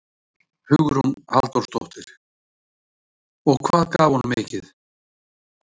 Hugrún Halldórsdóttir: Og hvað gaf hún mikið?